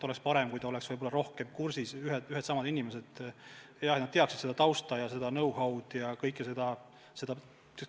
Oleks parem, kui keegi oleks rohkem asjaga kursis, et oleks ühed ja samad inimesed, et nad teaksid tausta ja kogu seda know-how'd.